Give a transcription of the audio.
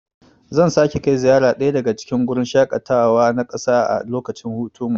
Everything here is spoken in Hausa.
Zan sake kai ziyara daya daga cikin gurin shaƙatawa na ƙasa a lokacin hutunmu.